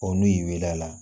Ɔ n'u y'i weele a la